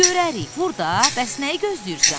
Görərik, vur da, bəs nəyi gözləyirsən?